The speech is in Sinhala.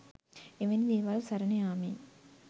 එවැනි දේවල් සරණ යාමෙන්